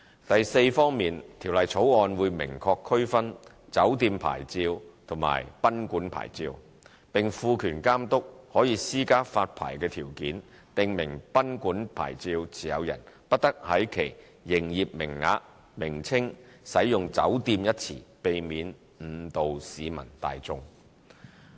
第四方面，《條例草案》會明確區分"酒店牌照"和"賓館牌照"，並賦權監督可施加發牌條件，訂明"賓館牌照"持有人不得在其營業名稱使用"酒店"一詞，避免誤導市民大眾。